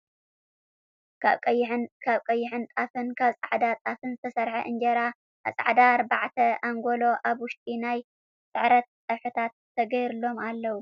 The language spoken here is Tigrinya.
ካብ ቀይሕን ጣፍን ካብ ፃዕዳ ጣፍን ዝተሰረሐ እንጀራን ኣብ ፃዕዳ ኣርባዕተ ኣንጎሎ ኣብ ውሽጡ ናይ ስዕረት ፀብሕታት ተገርሎም ኣለው ።